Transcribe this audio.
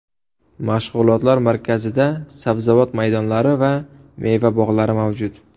Mashg‘ulotlar markazida sabzavot maydonlari va meva bog‘lari mavjud.